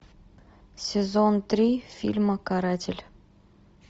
сезон три фильма каратель